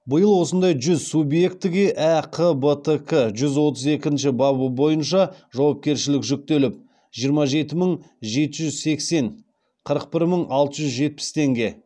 биыл осындай жүз субъектіге әқбтк жүз отыз екінші бабы бойынша жауапкершілік жүктеліп жиырма жеті мың жеті жүз сексен қырық бір мың алты жүз жетпіс теңге